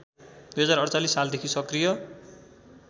२०४८ सालदेखि सक्रिय